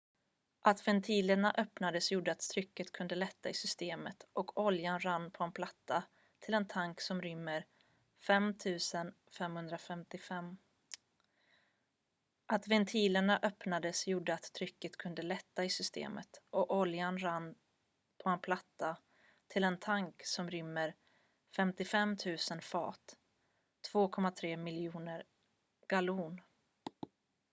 att ventilerna öppnades gjorde att trycket kunde lätta i systemet och oljan rann på en platta till en tank som rymmer 55 000 fat 2,3 miljoner gallon